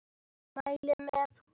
Mæli með honum.